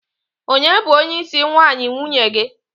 onye bu onye isi nwayi nwunye gi?